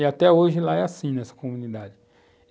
E até hoje lá é assim nessa comunidade.